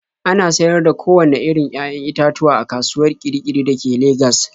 Ana sayar da kowanne irin 'ya'yan itatuwa a kasuwar Kirkiri da ke Legas.